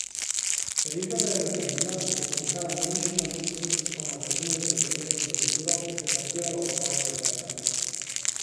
Regeva je naznanila, da bo pisala nemškima ministrstvoma za zunanje zadeve in za kulturo ter zahtevala odpoved koncerta.